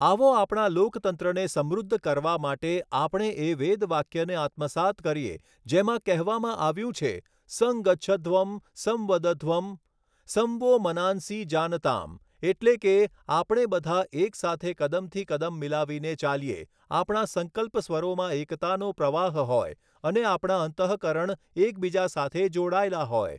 આવો આપણા લોકતંત્રને સમૃદ્ધ કરવા માટે આપણે એ વેદવાક્યને આત્મસાત કરીએ જેમાં કહેવામાં આવ્યું છે સંગચ્છધ્વં સંવદધ્વં સં વો મનાંસિ જાનતામ એટલે કે આપણે બધા એક સાથે કદમથી કદમ મિલાવીને ચાલીએ, આપણા સંકલ્પ સ્વરોમાં એકતાનો પ્રવાહ હોય અને આપણા અંતઃકરણ એકબીજા સાથે જોડાયેલા હોય.